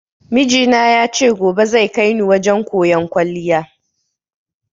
Mijina ya ce gobe zai kaini wajen koyan kwaliya